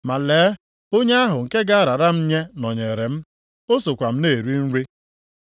Ma lee, onye ahụ nke ga-arara m nye nọnyeere m, o sokwa m na-eri nri.